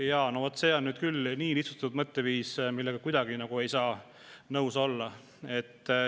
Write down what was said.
Jaa, no vot see on nüüd küll nii lihtsustatud mõtteviis, millega mina kuidagi ei saa nõus olla.